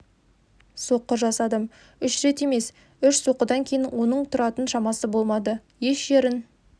соққы жасадым үш рет емес емес үш соққыдан кейін оның тұратын шамасы болмады еш жерін